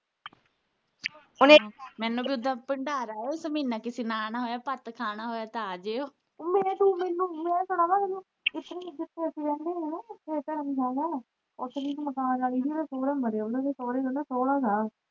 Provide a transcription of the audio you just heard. ਮੈਨੂੰ ਤੇ ਉੱਦਾ ਭੰਡਾਰ ਆਇਆ ਮਹੀਨਾ ਕਿਸੇ ਨੇ ਆਉਣਾ ਹੋਇਆ ਭੱਤਾ ਖਾਣਾ ਹੋਇਆ ਤੇ ਆਜੀਓ